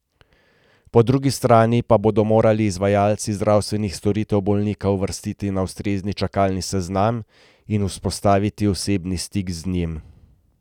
Po drugi strani pa bodo morali izvajalci zdravstvenih storitev bolnika uvrstiti na ustrezni čakalni seznam in vzpostaviti osebni stik z njim.